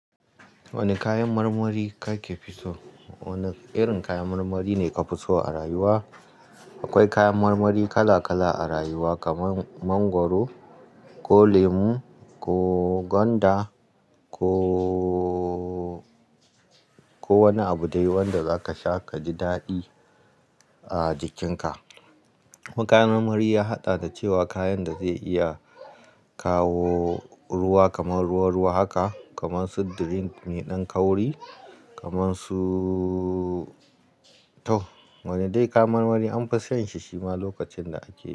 Wane kayan marmari kake fi so? Wane irin kayan marmari ne ka fi so a rayuwa? Akwai kayan marmari kala-kala a rayuwa, kamar mangwaro, ko lemu, ko gwanda, ko, ko wani abu dai wanda za ka sha ka ji daɗi a jikinka. Kayan marmari ya haɗa da cewa kayan da zai iya kawo ruwa kamar ruwa ruwa haka, kamar su drink mai ɗan kauri, kamar su tau. Wane dai kayan marmari an fi san shi shima lokacin da ake.